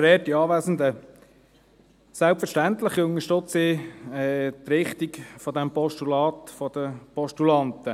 Selbstverständlich unterstütze ich die Richtung des Postulats der Postulanten.